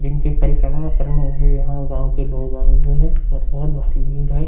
जिन से परिक्रमा करने के लिए यहाँ गांव के लोग आए हुए हैं और बहुत भारी भीड़ है।